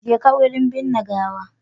Jeka wurin binne gawa.